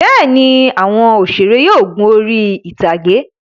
Bẹ́ẹ̀ ni, àwọn òṣèré yóò gun orí-ìtàgé.